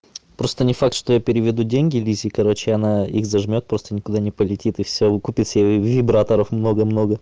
просто не факт что я переведу деньги лизе короче она их зажмёт просто никуда не полетит и все купит себе вибраторов много много